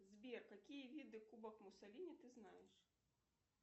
сбер какие виды кубок муссолини ты знаешь